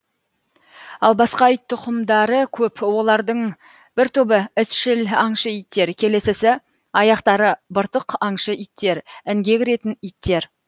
ал басқа ит тұқымдары көп олардың бір тобы ізшіл аңшы иттер келесісі аяқтары быртық аңшы иттер інге кіретін иттер